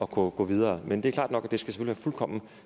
kunne gå videre men det er klart at det selvfølgelig skal være fuldkommen